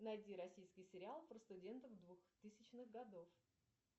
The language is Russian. найди российский сериал про студентов двухтысячных годов